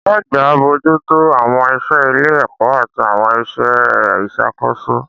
Ọ̀gá àgbà ń bójú tó àwọn iṣẹ́ ilé-ẹ̀kọ́ àti àwọn iṣẹ́ ìṣàkóso